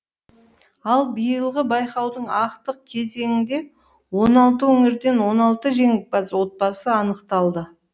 ал биылғы байқаудың ақтық кезеңінде он алты өңірден он алты жеңімпаз отбасы анықталды